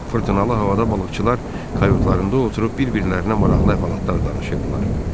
Fırtınalı havada balıqçılar kayutlarında oturub bir-birlərinə maraqlı əhvalatlar danışırdılar.